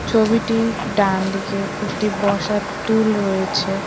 ছবিটির ডানদিকে একটি বসার টুল রয়েছে।